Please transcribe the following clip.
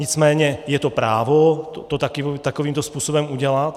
Nicméně je to právo to takovýmto způsobem udělat.